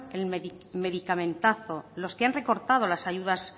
en medicamentazo los que han recortado las ayudas